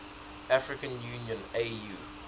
african union au